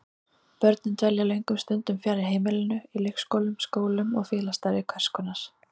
Börnin dvelja löngum stundum fjarri heimilinu, í leikskólum, skólum og félagsstarfi hvers konar.